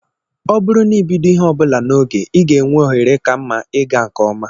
Ọ bụrụ na ibido ihe ọ bụla n'oge, ị ga-enwe ohere ka mma ịga nke ọma